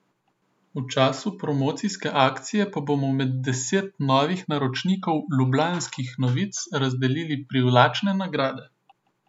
V času promocijske akcije pa bomo med deset novih naročnikov Lublanskih novic razdelili privlačne nagrade.